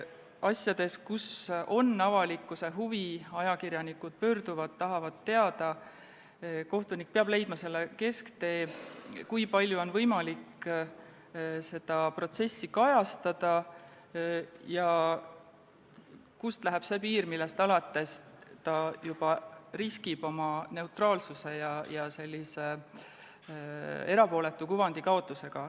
Asjades, mille vastu on avalikkusel huvi, mille puhul ajakirjanikud pöörduvad ja tahavad teada, peab kohtunik leidma kesktee, kui palju on võimalik seda protsessi kajastada ja kust läheb see piir, millest alates ta juba riskib oma neutraalsuse ja erapooletu kuvandi kaotusega.